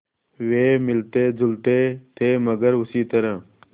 वे मिलतेजुलते थे मगर उसी तरह